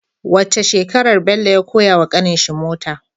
Wacce shekarar Bello ya koya wa ƙanin shi mota